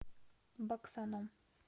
баксаном